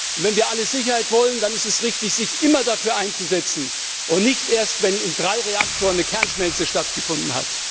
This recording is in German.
Und wenn wir alle Sicherheit wollen, dann ist es richtig, sich immer dafür einzusetzen, und nicht erst, wenn in drei Reaktoren eine Kernschmelze stattgefunden hat.